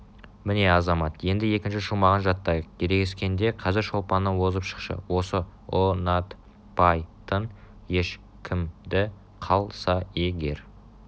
-міне азамат енді екінші шумағын жаттайық ерегіскенде қазір шолпаннан озып шықшы осы ұ-нат-пай-тын еш-кім-ді қал-са е-гер